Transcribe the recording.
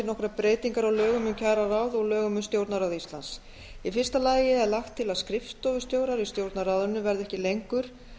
nokkrar breytingar á lögum um kjararáð og lögum um stjórnarráð íslands í fyrsta lagi er lagt til að skrifstofustjórar í stjórnarráðinu verði ekki lengur